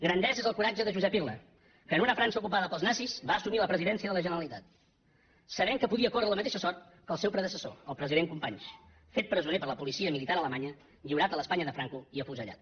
grandesa és el coratge de josep irla que en una frança ocupada pels nazis va assumir la presidència de la generalitat sabent que podia córrer la mateixa sort que el seu predecessor el president companys fet presoner per la policia militar alemanya lliurat a l’espanya de franco i afusellat